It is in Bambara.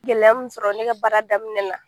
Gɛlɛya min sɔrɔ ne ka baara daminɛ na.